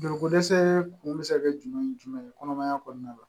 Joliko dɛsɛ kun bɛ se ka kɛ jumɛn ni jumɛn ye kɔnɔmaya kɔnɔna la